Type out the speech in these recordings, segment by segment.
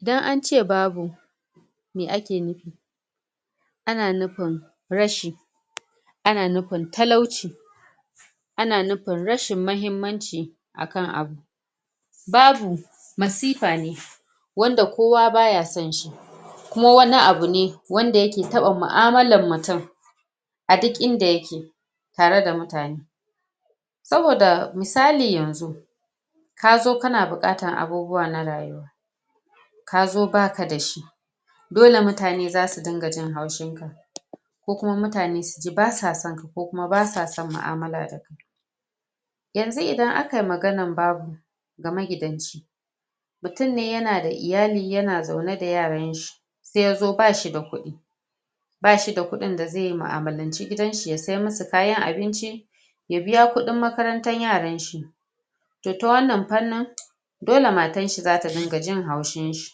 idan ance babu mai ake nufi an nufin rashi ana nufin talauci ana nufin rashin mahimmanci akan abu babu masifa ne wanda kowa baya son shi kuma wani abu ne wanda yake taba mu'amalan mutum a duk inda yake tare da mutune saboda misali yanzu kazo kana buƙatan abubuwa na rayuwa kazo baka da shi dole mutane zasu dinga jin haushin ka ko kuma mutane suji basa son ka ko basa son mu'amala da kai yanzu idan akayi maganan babu ga magidanci mutum ne yana da iyali yana zaune da yaran shi sai yazo bashi da kudi bashi da kudin da zai mu'amalance gidan shi ya siya musu kayan abinci ya biya kudin makarantan shi toh ta wannan fannin dole matanshi da ringa jin haushin shi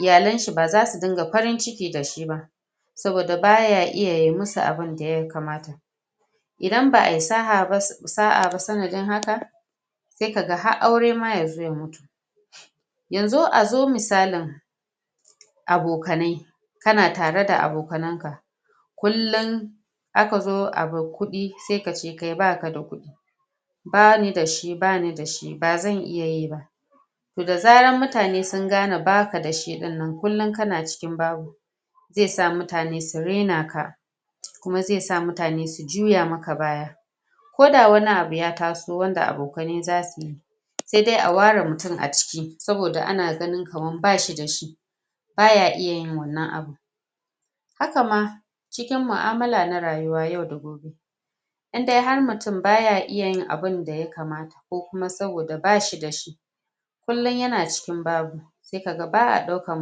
iyalen shi baza su dinga farin ciki dashi ba saboda baya iya ya musu abunda yakamata idan ba'ayi sa'a ba sanadin haka sai kaga har aure ma yazo ya mutu yanzu a zo misalin abokanai, kana tare da akonanan ka kullun aka zo abun kudi sai kace baka da kudi bani dashi bani dashi bazan iya ba toh da zaran mutunane sun gane baka da shi ɗin kullum kana cikin babu zai sa mutane su raina ka kuma zai sa mutane su juya maka baya koda wani abu ya taso wanda abokanai zasu yi sai dai a ware mutum a ciki saboda ana ganin kaman bashi dashi baya iya yin wannan abun haka ma cikin mu'amala na rayuwa yau da gobe indai mutum baya iya yin abun da yakamata ko kuma saboda bashi dashi kullun yana cikin babu sai kaga ba'a daukan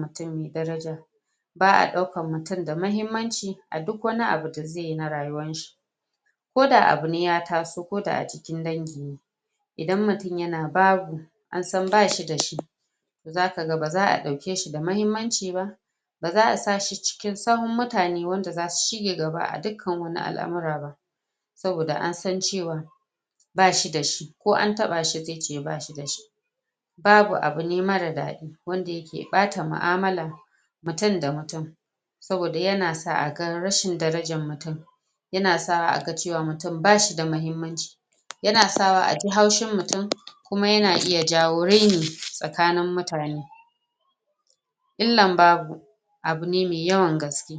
mutun da daraja ba'a daukan mutun da mahimmanci a cikin dauk wani abu da zaiyi a rayuwan shi koda abune ya taso ka a cikin dangi ne idan mutun yana babu an san bashi dashi zakaga baza'a dauke shi da mahimmanci ba baza a sa shi cikin tsawon mutane wanda zasu shiga gaba a ɗukkan al'amura saboda an san cewa bashi dashi ko an taba shi zai ce bashi dashi babu abu mara ɗadi wanda yake ɓata mu'amalan mutun da mutun saboda yana sa aga rashin darajan mutum yana sa a ga cewa mutum bashi da mahimmanci yana sa wa aji haushin mutum kuma yana iya jawo raini tsakanin mutane il'lan babu abu ne mai yawan gaske